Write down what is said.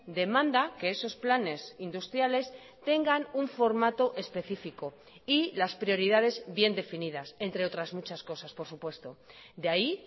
demanda que esos planes industriales tengan un formato específico y las prioridades bien definidas entre otras muchas cosas por supuesto de ahí